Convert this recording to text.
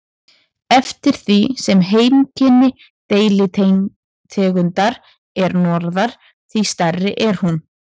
Eftir því sem heimkynni deilitegundar er norðar, því stærri er hún.